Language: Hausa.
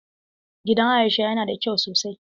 Gidan Aisha yana da kyau sosai.